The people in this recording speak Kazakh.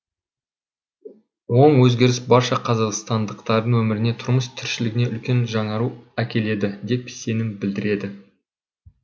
оң өзгеріс барша қазақстандықтардың өміріне тұрмыс тіршілігіне үлкен жаңару әкеледі деп сенім білдіреді